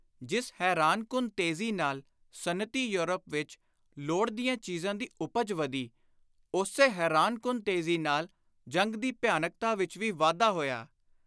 ਜਿਸ ਹੈਰਾਨਕੁੰਨ ਤੇਜ਼ੀ ਨਾਲ ਸਨਅਤੀ ਯੌਰਪ ਵਿਚ ਲੋੜ ਦੀਆਂ ਚੀਜ਼ਾਂ ਦੀ ਉਪਜ ਵਧੀ, ਉਸੇ ਹੈਰਾਨਕੁੰਨ ਤੇਜ਼ੀ ਨਾਲ ਜੰਗ ਦੀ ਭਿਆਨਕਤਾ ਵਿਚ ਵੀ ਵਾਧਾ ਹੋਇਆ।